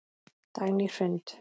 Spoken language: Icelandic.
Dagný Hrund.